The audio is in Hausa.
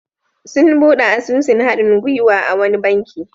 Sun buɗe asusun haɗin-gwiwa a wani banki.